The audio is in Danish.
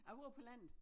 Jeg bor på landet